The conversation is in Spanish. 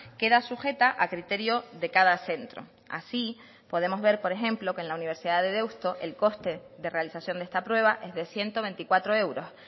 queda sujeta a criterio de cada centro así podemos ver por ejemplo que en la universidad de deusto el coste de realización de esta prueba es de ciento veinticuatro euros